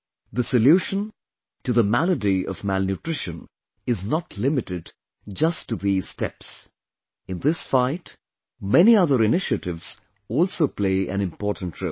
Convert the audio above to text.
The solution to the malady of malnutrition is not limited just to these steps in this fight, many other initiatives also play an important role